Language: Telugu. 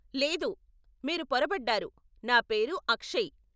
లేదు, మీరు పొరబడ్డారు, నా పేరు అక్షయ్.